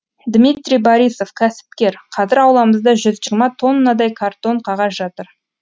дмитрий борисов кәсіпкер қазір ауламызда жүз жиырма тоннадай картон қағаз жатыр